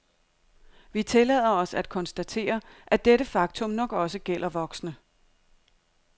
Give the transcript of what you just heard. Vi tillader os at konstatere, at dette faktum nok også gælder voksne.